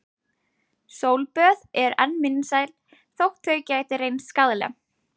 Sólböð eru enn vinsæl þótt þau geti reynst skaðleg.